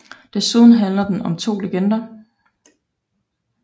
Desuden handler den om 2 legender